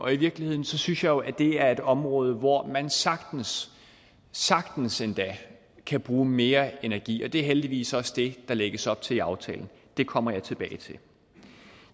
i virkeligheden synes jeg jo at det er et område hvor man sagtens sagtens endda kan bruge mere energi det er heldigvis også det der lægges op til i aftalen det kommer jeg tilbage til